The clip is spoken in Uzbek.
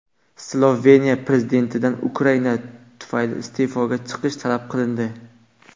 Sloveniya prezidentidan Ukraina tufayli iste’foga chiqish talab qilindi.